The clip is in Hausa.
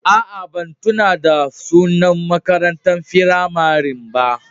Aa, ban tunna da sunan makarantan firamarin ba.